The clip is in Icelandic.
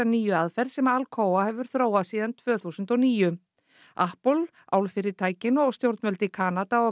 nýju aðferð sem Alcoa hefur þróað síðan tvö þúsund og níu álfyrirtækin og stjórnvöld í Kanada og